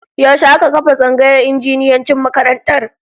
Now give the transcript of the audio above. Yaushe aka kafa tsangayar injiniyancin makarantar?